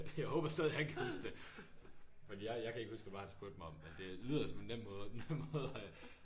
Jeg håber stadig han kan huske det. Fordi jeg jeg kan ikke huske hvad det var han spurgte mig om men det lyder som en nem måde nem måde at